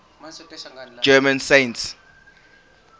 german saints